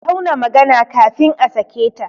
A tauna magana kafin a sake ta!